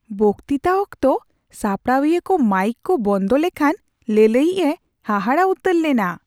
ᱵᱚᱠᱛᱤᱛᱟ ᱚᱠᱛᱚ ᱥᱟᱯᱲᱟᱣᱤᱭᱟᱹᱠᱚ ᱢᱟᱭᱤᱠ ᱠᱚ ᱵᱚᱱᱫᱚ ᱞᱮᱠᱷᱟᱱ ᱞᱟᱹᱞᱟᱹᱭᱤᱡ ᱮ ᱦᱟᱦᱟᱲᱟᱜ ᱩᱛᱟᱹᱨ ᱞᱮᱱᱟ ᱾